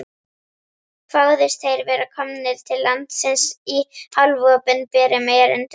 Kváðust þeir vera komnir til landsins í hálfopinberum erindum.